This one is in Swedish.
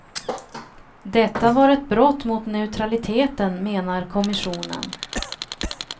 Detta var ett brott mot neutraliteten, menar kommissionen.